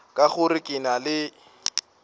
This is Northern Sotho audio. ka gore ke na le